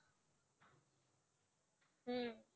হম